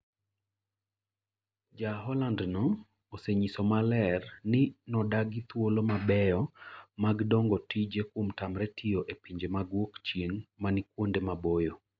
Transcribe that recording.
Ja-Hollandno osenyiso maler ni, nodagi thuolo mabeyo mag dongo tije kuom tamre tiyo e pinje mag Wuokchieng’ manikuonde maboyo